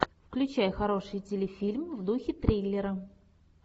включай хороший телефильм в духе триллера